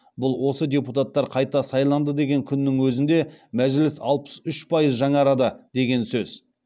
бұл осы депутаттар қайта сайланды деген күннің өзінде мәжіліс алпыс үш пайыз жаңарады деген сөз